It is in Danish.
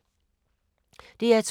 DR2